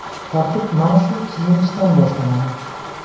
Tartib mana shu kiyinishdan boshlanadi.